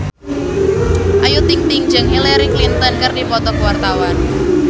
Ayu Ting-ting jeung Hillary Clinton keur dipoto ku wartawan